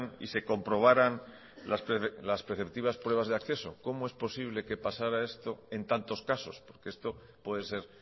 y se comprobaran las preceptivas pruebas de acceso cómo es posible que pasara esto en tantos casos porque esto puede ser